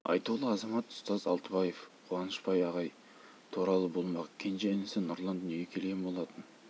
айтулы азамат ұстаз алтыбаев қуанышбай ағай туралы болмақ кенже інісі нұрлан дүниеге келген болатын